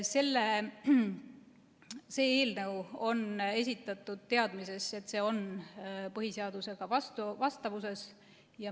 See eelnõu on esitatud teadmises, et see on põhiseadusega vastu vastavuses.